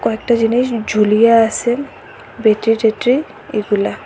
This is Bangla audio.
কয়েকটা জিনিস ঝুলিয়ে আছে ব্যাটারি টেট্রি এগুলা।